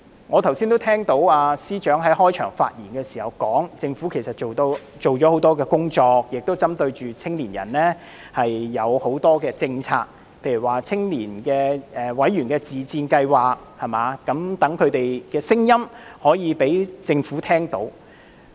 我剛才聽到司長在開場發言時說政府做了很多工作，亦針對年青人推行很多政策，例如青年委員自薦計劃，使他們的聲音可以讓政府聽到。